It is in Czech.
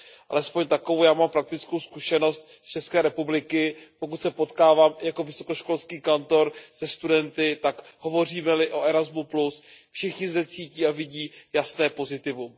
Alespoň takovou já mám praktickou zkušenost z České republiky, pokud se potkávám jako vysokoškolský kantor se studenty, tak hovoříme li o Erasmu, všichni zde cítí a vidí jasné pozitivum.